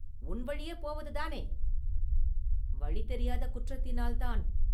உன் வழியே போவதுதானே?” “வழி தெரியாத குற்றத்தினால் தான்.